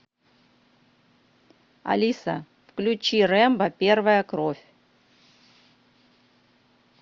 алиса включи рэмбо первая кровь